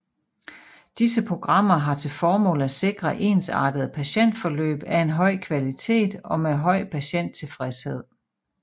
Disse programmer har til formål at sikre ensartede patientforløb af en høj kvalitet og med høj patienttilfredshed